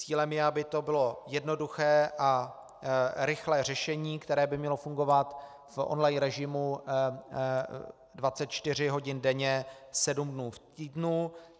Cílem je, aby to bylo jednoduché a rychlé řešení, které by mělo fungovat v on line režimu 24 hodin denně 7 dnů v týdnu.